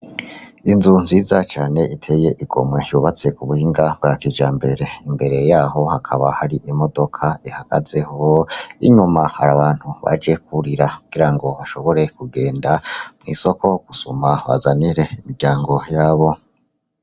Inzu nziza cane iteye igomwe yubatse ku buhinga bwa kijambere, imbere yaho hakaba hari imodoka ihagazeho inyuma hari abantu baje kurira kugirango bashobore kugenda mw'isoko gusuma bazanire imiryango yabo.